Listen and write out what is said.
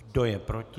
Kdo je proti?